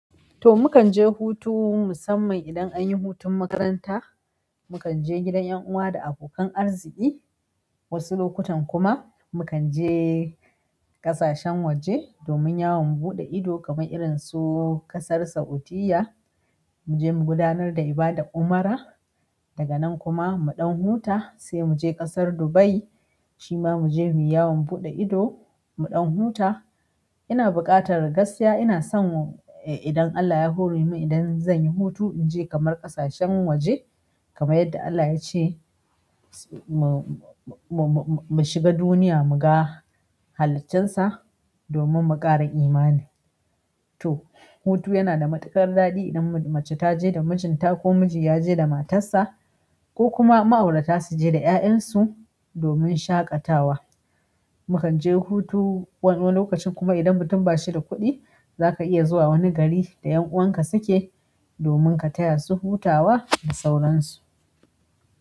To, mu kan je hutu musamman idan an yi hutun makaranta. Mu kan je gidan yan uwa da abokan arziki. Wasu lokutan kuma mu kan je ƙasashen waje domin yawon buɗe ido kamar irin su ƙasar Sa'udiyya, mu je mu gudanar da ibadan umra. Daga nan kuma mu dan huta sai muje ƙasar dubai shi ma mu je mu yi yawon buɗe ido, mu ɗan huta. Ina buƙatar gaskiya, ina son idan Allah ya hore min, idan zan yi hutu, in je kamar ƙasashen waje kamar yadda Allah ya ce mu shiga duniya mu ga haliccen sa domun mu muƙara imani. To, hutu yana da matuƙar daɗi idan mace ta je da mijinta ko miji ya je da matar sa ko kuma ma'aurata su je da 'ya'yansu domin shaƙatawa. Mu kan je hutu wani lokacin kuma idan mutum ba shi da kuɗi, za ka iya zuwa wani gari da 'yan'uwan ka suke domin ka taya su hutawa da sauransu.